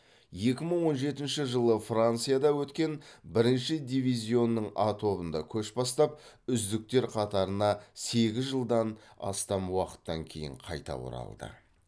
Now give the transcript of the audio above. екі мың он жетінші жылы францияда өткен бірінші дивизионның а тобында көш бастап үздіктер қатарына сегіз жылдан астам уақыттан кейін қайта оралды